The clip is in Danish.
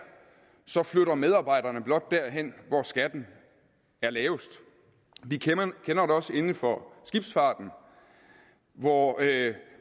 flytter medarbejderne blot derhen hvor skatten er lavest vi kender det også inden for skibsfarten hvor